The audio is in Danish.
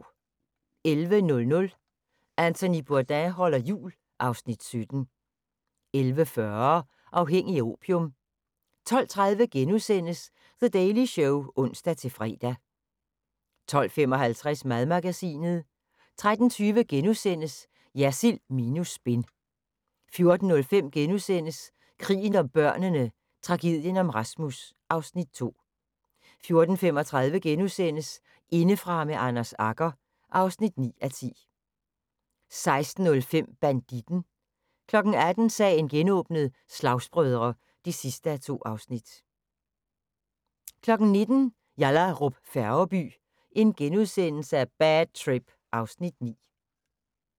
11:00: Anthony Bourdain holder jul (Afs. 17) 11:40: Afhængig af opium 12:30: The Daily Show *(ons-fre) 12:55: Madmagasinet 13:20: Jersild minus spin * 14:05: Krigen om børnene: Tragedien om Rasmus (Afs. 2)* 14:35: Indefra med Anders Agger (9:10)* 16:05: Banditten 18:00: Sagen genåbnet: Slagsbrødre (2:2) 19:00: Yallahrup Færgeby: Bad trip (Afs. 9)*